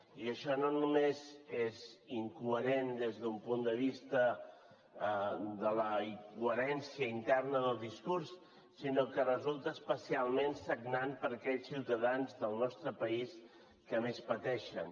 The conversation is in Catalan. i això no només és incoherent des d’un punt de vista de la coherència interna del discurs sinó que resulta especialment sagnant per a aquells ciutadans del nostre país que més pateixen